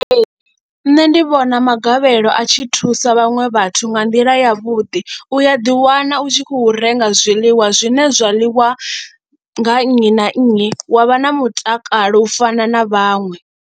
Ee, nṋe ndi vhona magavhelo a tshi thusa vhaṅwe vhathu nga nḓila yavhuḓi u a ḓiwana u tshi khou renga zwiḽiwa zwine zwa ḽiwa nga nnyi na nnyi wa vha na mutakalo u fana na vhaṅwe.